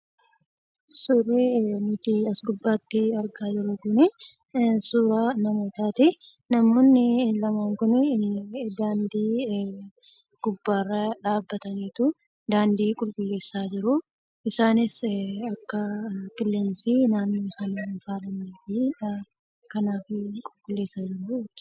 Suurri nuti as gubbaatti argaa jirru kunii, suuraa namootaati. Namoonni lamaan Kun daandii gubbaarra dhaabbataniituu , daandii qulqulleessaa jiruu. Isaanis akka qilleensi naannoo isaanii hin faalleef qulqulleessaa jiruu jechuudha.